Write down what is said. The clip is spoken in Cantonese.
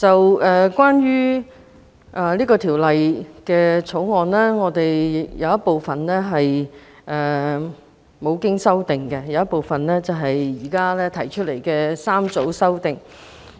主席，關於《2018年歧視法例條例草案》，有一部分無經修正，另一部分則有政府提出的3組修正案。